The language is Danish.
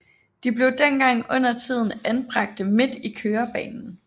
De blev dengang undertiden anbragte midt i kørebanen